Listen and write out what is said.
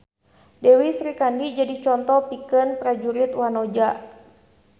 Dewi Srikandi jadi conto pikeun prajurit wanoja